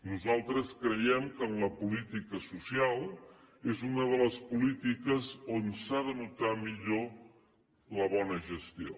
nosaltres creiem que en la política social és una de les polítiques on s’ha de notar millor la bona gestió